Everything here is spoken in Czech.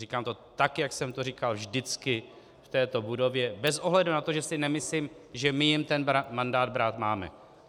Říkám to tak, jak jsem to říkal vždycky v této budově, bez ohledu na to, že si nemyslím, že my jim ten mandát brát máme.